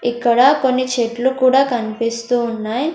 ఇక్కడ కొన్ని చెట్లు కూడా కనిపిస్తూ ఉన్నాయ్.